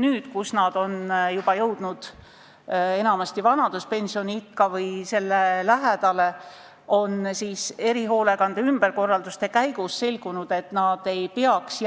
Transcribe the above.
nüüd, kui nad on jõudnud vanaduspensioniikka või selle lähedale, on erihoolekande ümberkorraldamise käigus selgunud, et nad ei peaks